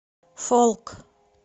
фолк